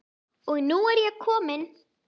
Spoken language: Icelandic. Og nú er ég komin!